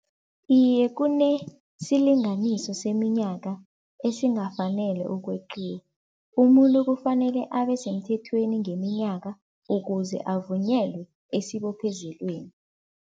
Iye kunesilinganiso seminyaka esingafanele ukweqiwa. Umuntu kufanele abe semthethweni ngeminyaka ukuze avunyelwe esibophezelweni.